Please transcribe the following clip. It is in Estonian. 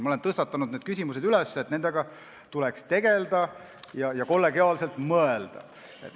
Ma olen tõstatanud need küsimused, et nendega tuleks tegeleda ja selle üle kollegiaalselt mõelda.